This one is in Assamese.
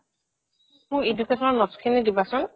মোৰ education ৰ notes খিনি দিবাচোন